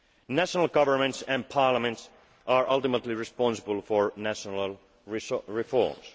revenues. National governments and parliaments are ultimately responsible for national